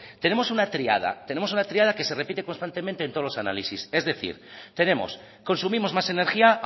tenemos una triada tenemos una triada que se repite constantemente en todos los análisis es decir tenemos consumimos más energía